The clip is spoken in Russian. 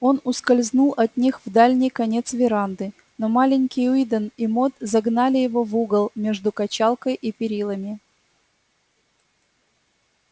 он ускользнул от них в дальний конец веранды но маленький уидон и мод загнали его в угол между качалкой и перилами